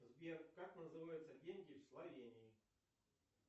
сбер как называются деньги в словении